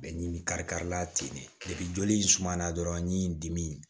Bɛ ɲimi kari kari la ten de joli in suma na dɔrɔn ni dimi